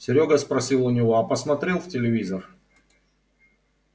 серёга спросил у него а посмотрел в телевизор